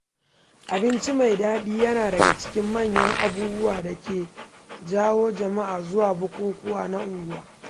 Abinci mai daɗi yana daga cikin manyan abubuwan da ke jawo jama’a zuwa bukukuwa na unguwa.